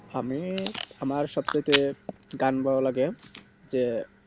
আমি আমার সব থেকে গান ভালো লাগে যে